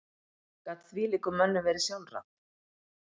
Gat þvílíkum mönnum verið sjálfrátt?